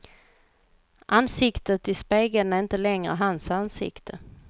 Ansiktet i spegeln är inte längre hans ansikte.